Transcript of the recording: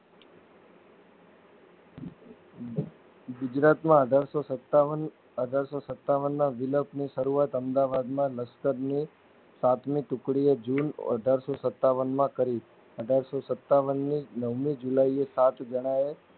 ગુજરાતમાં અઠારશોસતાવન અઠારશોસતાવનના વિપ્લવની સરું આત અમદાવાદ ના લસ્કરની સાત્મીટુકડીઓ જૂન અઠારશો સતાવન માં કરી અઢારસો સત્તાવાનની નવમી જુલાઈએ સાત જણાયે